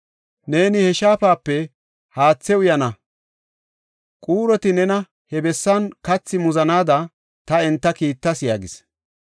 Neeni he shaafape haathe uyana; quuroti nena he bessan kathi muzanaada ta enta kiittas” yaagis.